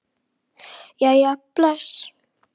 Jæja bless